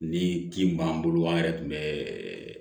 Ni kin b'an bolo an yɛrɛ tun bɛ